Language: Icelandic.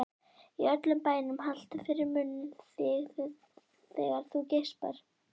Í öllum bænum haltu fyrir munninn þegar þú geispar.